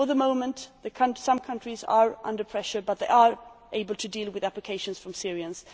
For the moment, while some countries are under pressure, they are able to deal with applications from Syrians.